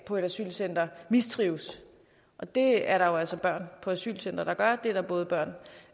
på et asylcenter mistrives og det er der jo altså børn på asylcentre der gør det kan både være